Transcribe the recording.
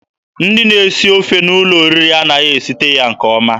Ndị na-esi ofe n'ụlọ oriri anaghị esite ya nke ọma.